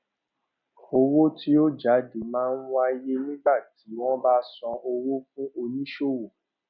owó tí ó jáde máa ń wáyé nígbà tí wón bá san owó fún oníṣòwò